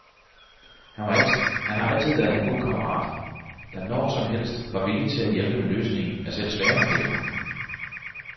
Han har altid været en god kammerat, der når som helst var villig til at hjælpe med løsningen af selv svære problemer.